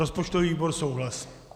Rozpočtový výbor souhlasí.